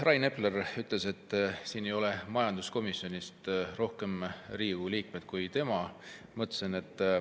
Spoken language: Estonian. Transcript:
Rain Epler ütles, et siin ei ole majanduskomisjonist rohkem Riigikogu liikmeid kui tema.